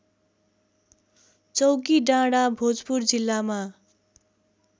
चौकीडाँडा भोजपुर जिल्लामा